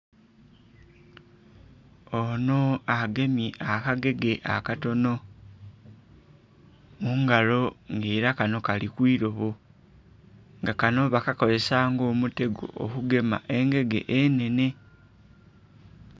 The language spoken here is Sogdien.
Ono agemye akagege akatono mungalo nga era kano kali kwirobo nga kano bakakozesa nga omutego okugema engege enhenhe.